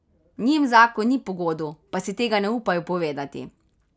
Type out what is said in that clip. Njim zakon ni pogodu, pa si tega ne upajo povedati.